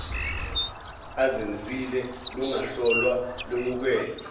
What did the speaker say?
azenzile lungahlolwa lwemukelwe